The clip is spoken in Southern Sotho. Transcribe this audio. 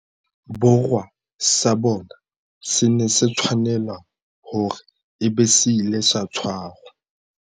Borwa sa bone se ne se tshwanela hore e be se ile sa tshwarwa